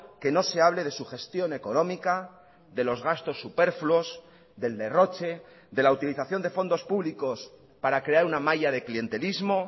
que no se hable de sugestión económica de los gastos superfluos del derroche de la utilización de fondos públicos para crear una malla de clientelismo